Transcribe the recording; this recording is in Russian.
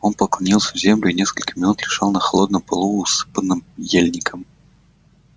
он поклонился в землю и несколько минут лежал на холодном полу усыпанном ельником